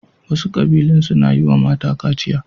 Wasu ƙabilun suna yi wa mata kaciya.